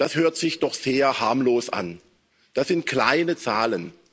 Das hört sich doch sehr harmlos an, das sind kleine Zahlen.